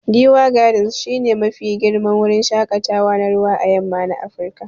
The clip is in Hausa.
Giwa gardens shi ne Mafi girman wurin shakatawa na ruwa à yamma na Afirka.